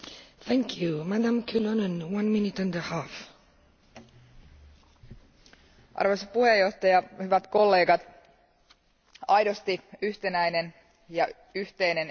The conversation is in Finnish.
Arvoisa puhemies, hyvät kollegat, aidosti yhtenäinen ja yhteinen eurooppalainen liikennealue vaatii aidosti yhteiset ja yhtenäiset pelisäännöt.